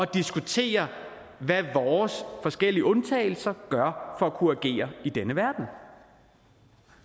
diskutere hvad vores forskellige undtagelser gør for at kunne agere i denne verden